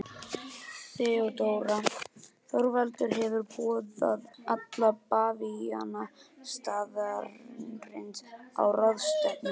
THEODÓRA: Þorvaldur hefur boðað alla bavíana staðarins á ráðstefnu.